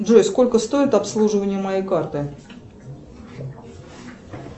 джой сколько стоит обслуживание моей карты